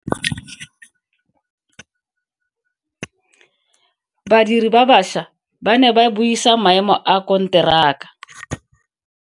Badiri ba baša ba ne ba buisa maemo a konteraka.